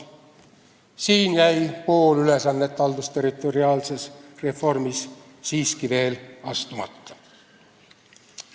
Siin jäi pool ülesannet haldusterritoriaalses reformis siiski veel täitmata.